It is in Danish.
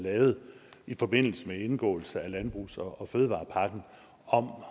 lavet i forbindelse med indgåelse af landbrugs og fødevarepakken om